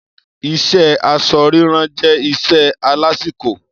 Iṣé aṣọ rírán jẹ́ iṣẹ́ alásìkò.